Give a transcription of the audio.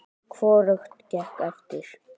Hvorugt gekk eftir.